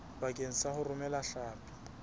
bakeng sa ho romela hlapi